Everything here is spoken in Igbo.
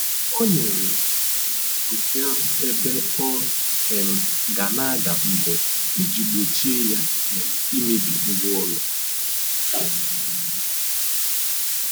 O O nyèrè pusi ahụ ebe ọ um ga na aga mbọ iji gbochie ya um imebi ngwa ụlọ